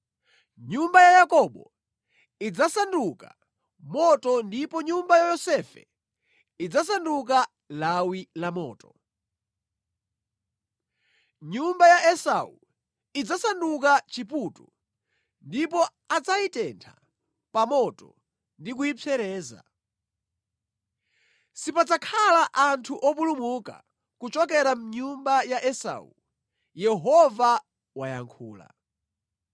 Nyumba ya Yakobo idzasanduka moto ndipo nyumba ya Yosefe idzasanduka lawi la moto; nyumba ya Esau idzasanduka chiputu, ndipo adzayitenthe pa moto ndi kuyipsereza. Sipadzakhala anthu opulumuka kuchokera mʼnyumba ya Esau.” Yehova wayankhula.